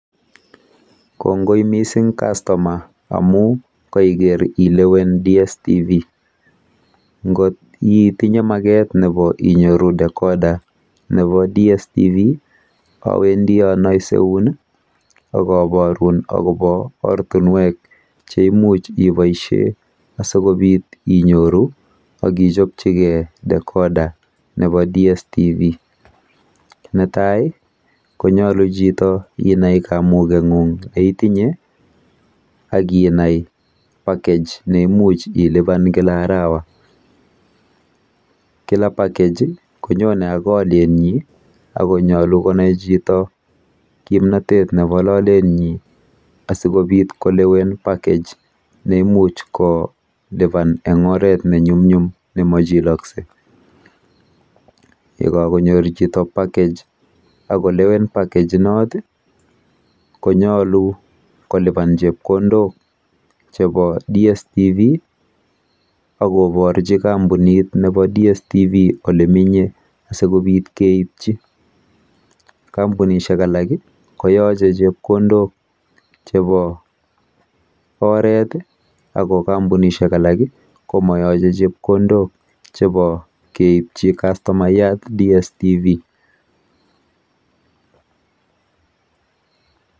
"Kongoi missing' customer amu kaiker ilewen dstv . Ngot itinye maket nepo inyoru decorder nepo dstv awendi anaiseun i ak aparun akopa ortunwek che imuch ipaishe asikopit inyoru ak ichopchigei decorder nepp dstv. Netai konyalu inai chito kamung'eng'ung' ne itinye akinai package ne imuch ilipan kila arawa. Kila package konyone ak alien nyin ak konyalu konai chito kimnatet nepo lalenyu asikopit kolewen package ne imuch kolipan en oret ne nyumnyum ne machilaksei. Ye ka konyor chito package ak kolewen package konyalubkolipan chepkondok chepo dstv ak koparchu kampunit nepo dstv ole menye asikopit keipchi. Kampunishek alk koyache chepkondok chepo oret, ako kampunishek alak komayache chepkondok chepo keipchi kastomayat dstv."